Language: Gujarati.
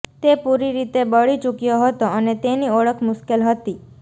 તે પૂરી રીતે બળી ચૂક્યો હતો અને તેની ઓળખ મુશ્કેલ હતી